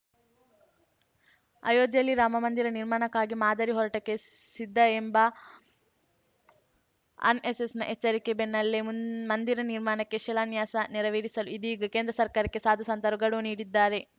ಅಯೋಧ್ಯೆಯಲ್ಲಿ ರಾಮಮಂದಿರ ನಿರ್ಮಾಣಕ್ಕಾಗಿ ಮಾದರಿ ಹೋರಾಟಕ್ಕೆ ಸಿದ್ಧ ಎಂಬ ಅನ್ಎಸ್‌ಎಸ್‌ನ ಎಚ್ಚರಿಕೆ ಬೆನ್ನಲ್ಲೇ ಮುನ್ ಮಂದಿರ ನಿರ್ಮಾಣಕ್ಕೆ ಶಿಲಾನ್ಯಾಸ ನೆರವೇರಿಸಲು ಇದೀಗ ಕೇಂದ್ರ ಸರ್ಕಾರಕ್ಕೆ ಸಾಧು ಸಂತರು ಗಡುವು ನೀಡಿದ್ದಾರೆ